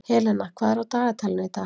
Helena, hvað er á dagatalinu í dag?